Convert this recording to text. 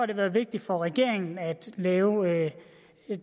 det været vigtigt for regeringen at lave